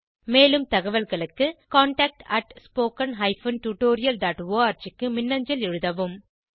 மேலும் தகவல்களுக்கு contactspoken tutorialorg க்கு மின்னஞ்சல் எழுதவும்